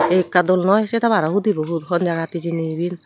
ekka dol noi se tower o hudi bu hon jagat hijeni iben.